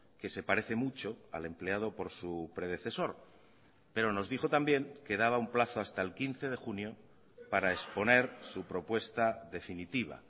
que se parece mucho al empleado por su predecesor pero nos dijo también que daba un plazo hasta el quince de junio para exponer su propuesta definitiva